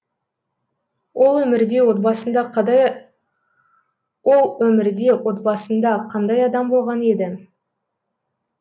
ол өмірде отбасында қандай адам болған еді